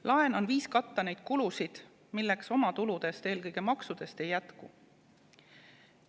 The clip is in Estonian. Laen on viis katta neid kulusid, milleks oma tuludest, eelkõige maksudest ei jätku.